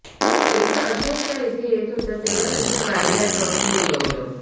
एकदा अशाच त्या इथे येत होत्या तेव्हा त्यांच्या गाडीला ट्रकनं उडवलं